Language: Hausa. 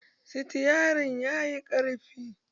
Siteri ɗin yayi ƙarfi